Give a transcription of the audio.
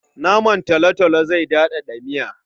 Naman talotalo zai daɗaɗa miya.